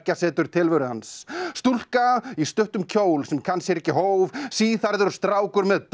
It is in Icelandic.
setur tilveru hans stúlka í stuttum kjól sem kann sér ekki hóf síðhærður strákur með